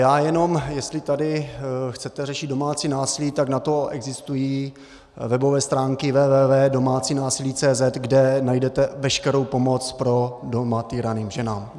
Já jenom, jestli tady chcete řešit domácí násilí, tak na to existují webové stránky www.domacinasili.cz, kde najdete veškerou pomoc pro doma týrané ženy.